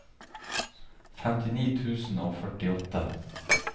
femtini tusen og førtiåtte